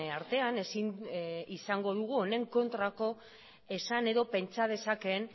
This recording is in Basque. artean ezin izango dugu honen kontrako esan edo pentsa dezakeen